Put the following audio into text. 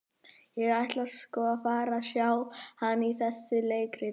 Ég ætla sko að fara og sjá hann í þessu leikriti.